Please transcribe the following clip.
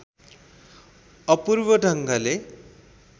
अपूर्व ढङ्गले